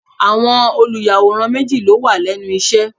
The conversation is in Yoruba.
Àwọn olùyàwòrán méjì ló wà lẹ́nu iṣẹ́.